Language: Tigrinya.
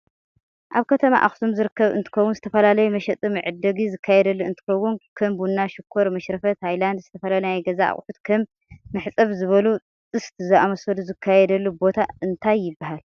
ኣብ ከተማ ኣክሱም ዝርከብ እንትከውን ዝተፈላላዩ መሸጢ መዕደግ ዝካየደሉ እንትከውን ከም ቡና ፣ሽኮር፣ መሽረፈት ፣ሃይላንድ ዝተፈላላዩ ናይ ገዛ ኣቁሑት ከም መሕፀብ ዝበሉ ጥስት ዛምሰሉ ዝካየደሉ ቦታ እንታይ ይብሃል?